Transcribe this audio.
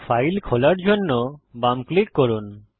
file খোলার জন্য বাম ক্লিক করুন